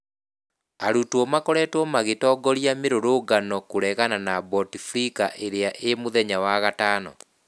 Arutwo makoretwo magitongoria mirurungano kũregana na Bouteflika irĩa ĩ mũthenya wa gatano.